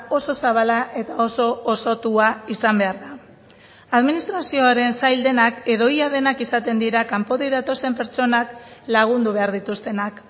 oso zabala eta oso osotua izan behar da administrazioaren sail denak edo ia denak izaten dira kanpotik datozen pertsonak lagundu behar dituztenak